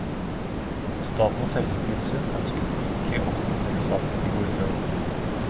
Statens helsetilsyn ønsket ikke å kommentere saken i går kveld.